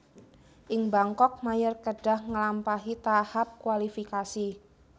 Ing Bangkok Mayer kedhah ngelampahi tahap kualifikasi